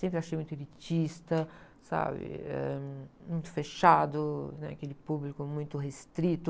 Sempre achei muito elitista, sabe? Eh, muito fechado, né? Aquele público muito restrito.